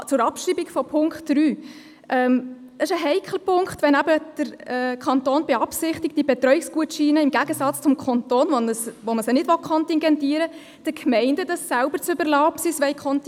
Zur Abschreibung von Punkt 3: Es ist heikel, es den Gemeinden selber zu überlassen, ob sie diese Betreuungsgutscheine kontingentieren wollen oder nicht – im Gegensatz zum Kanton, wo man sie nicht kontingentieren will.